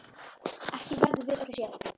Ekki verður við öllu séð.